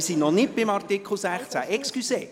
Wir sind noch nicht bei Artikel 16. Entschuldigung!